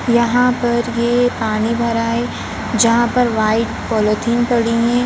यहां पर यह पानी भरा है जहां पर व्हाइट पॉलिथीन पड़ी है।